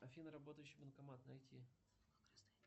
афина работающий банкомат найти